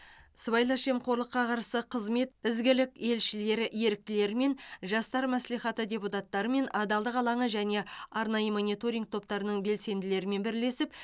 сыбайлас жемқорлыққа қарсы қызмет ізгілік елшілері еріктілерімен жастар мәслихаты депутаттарымен адалдық алаңы және арнайы мониторинг топтарының белсенділерімен бірлесіп